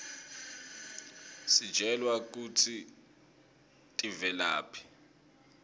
sitjelwa kutsi tivelaphi